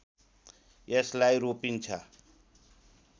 यसलाई रोपिन्छ